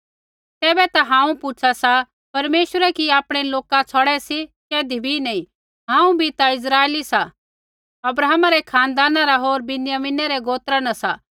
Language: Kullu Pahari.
तैबै ता हांऊँ पूछा सा परमेश्वरै कि आपणै लौका छ़ौड़ै सी कैधी भी नैंई हांऊँ भी ता इस्राइली सा अब्राहमै रै खानदाना रा होर विन्यामिने रै गोत्रा न सा